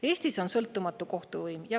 Eestis on sõltumatu kohtuvõim.